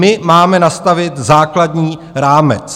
My máme nastavit základní rámec.